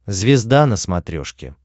звезда на смотрешке